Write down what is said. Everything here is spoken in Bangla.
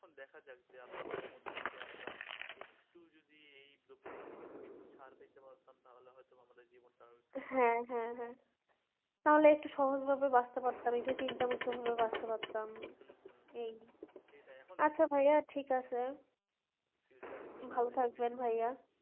হ্যাঁ হ্যাঁ হ্যাঁ তাহলে একটু সহজ ভাবে বাঁচতে পারতাম চিন্তা মুক্ত ভাবে বাঁচতে পারতাম এই আচ্ছা ভাইয়া ঠিক আছে ভালো থাকবেন ভাইয়া